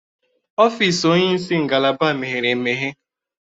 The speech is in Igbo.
Ọfịs onyeisi ngalaba meghere emeghe.